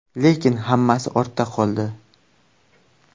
Lekin hammasi ortda qoldi.